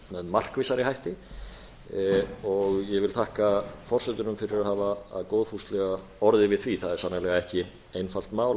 markvissari hætti ég vil þakka forsetunum fyrir að hafa góðfúslega orðið við því það er sannarlega ekki einfalt mál